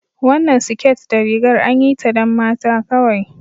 Wannan siket da rigar anyi ta don mata kawai